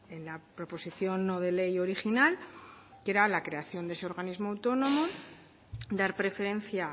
en la proposición no de ley original que era la creación de ese organismo autónomo dar preferencia